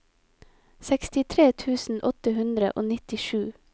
sekstitre tusen åtte hundre og nittisju